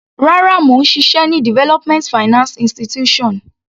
Rárá, mò ń ṣiṣẹ́ ní development finance institution.